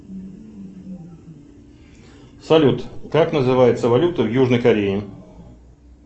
салют как называется валюта в южной корее